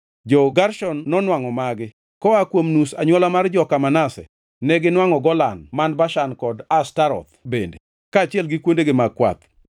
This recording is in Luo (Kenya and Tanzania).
Jo-Gershon nonwangʼo magi: Koa kuom nus anywola mar joka Manase, neginwangʼo Golan man Bashan kod Ashtaroth bende, kaachiel gi kuondegi mag kwath;